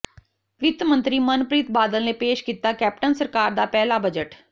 ਵਿੱਤ ਮੰਤਰੀ ਮਨਪ੍ਰੀਤ ਬਾਦਲ ਨੇ ਪੇਸ਼ ਕੀਤਾ ਕੈਪਟਨ ਸਰਕਾਰ ਦਾ ਪਹਿਲਾ ਬਜਟ